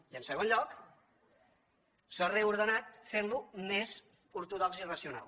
i en segon lloc s’ha reordenat fent lo més ortodox i racional